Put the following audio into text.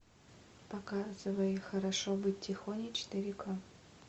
показывай хорошо быть тихоней четыре ка